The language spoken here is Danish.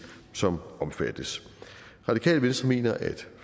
som omfattes radikale venstre mener at